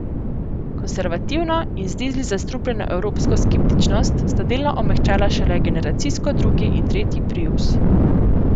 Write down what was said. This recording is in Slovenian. Konservativno in z dizli zastrupljeno evropsko skeptičnost sta delno omehčala šele generacijsko drugi in tretji prius.